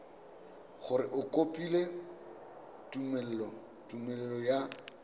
gore o kopile tumelelo ya